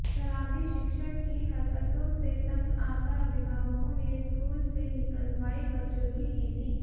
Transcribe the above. शराबी शिक्षक की हरकतों से तंग आकर अभिभावकों ने स्कूल से निकलवाई बच्चों की टीसी